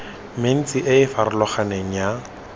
mentsi e e farologaneng ya